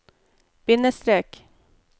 bindestrek